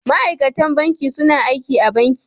Ma'aikatan banki suna aiki a banki.